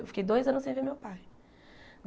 Eu fiquei dois anos sem ver meu pai.